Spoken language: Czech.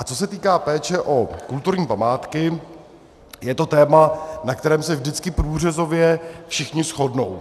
A co se týká péče o kulturní památky, je to téma, na kterém se vždycky průřezově všichni shodnou.